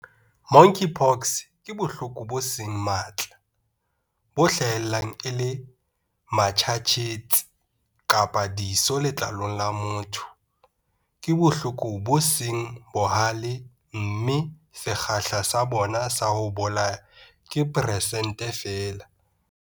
Monkeypox ke bohloko bo seng matla, bo hlahellang e le matjhatjhetsi kapa diso letlalong la motho. Ke bohloko bo seng bohale mme sekgahla sa bona sa ho bolaya ke persente feela.